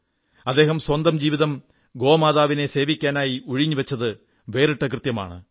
അദ്ദേഹം സ്വന്തം ജീവിതം ഗോമാതാവിനെ സേവിക്കാനായി ഉഴിഞ്ഞുവച്ചത് വേറിട്ട കൃത്യമാണ്